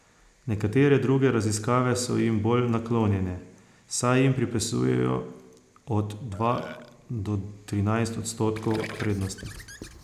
Nekatere druge raziskave so jim bolj naklonjene, saj jim pripisujejo od dva do trinajst odstotkov prednosti.